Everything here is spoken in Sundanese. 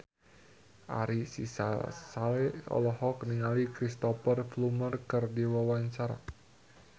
Ari Sihasale olohok ningali Cristhoper Plumer keur diwawancara